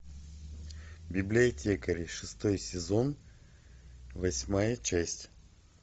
библиотекари шестой сезон восьмая часть